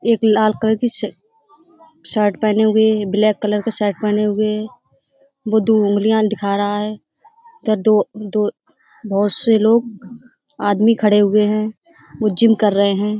एक लाल कलर की श शर्ट पहने हुए ब्लैक कलर का शर्ट पहने हुए वो दो उंगलियाँ दिखा रहा है त दद बहुत से लोग आदमी खड़े हुए हैं वो जिम कर रहे हैं।